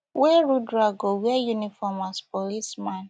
wey rudra go wear uniform as policeman